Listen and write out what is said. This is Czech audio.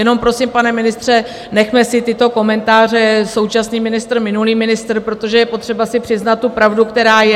Jenom prosím, pane ministře, nechme si tyto komentáře současný ministr - minulý ministr, protože je potřeba si přiznat tu pravdu, která je.